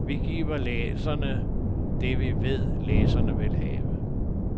Vi giver læserne det, vi ved, læserne vil have.